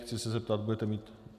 Chci se zeptat - budete mít?